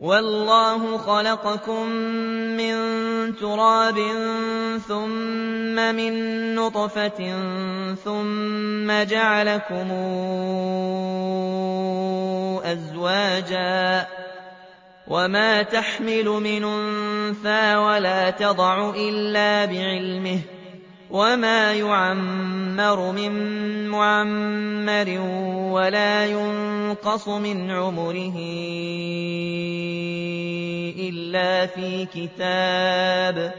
وَاللَّهُ خَلَقَكُم مِّن تُرَابٍ ثُمَّ مِن نُّطْفَةٍ ثُمَّ جَعَلَكُمْ أَزْوَاجًا ۚ وَمَا تَحْمِلُ مِنْ أُنثَىٰ وَلَا تَضَعُ إِلَّا بِعِلْمِهِ ۚ وَمَا يُعَمَّرُ مِن مُّعَمَّرٍ وَلَا يُنقَصُ مِنْ عُمُرِهِ إِلَّا فِي كِتَابٍ ۚ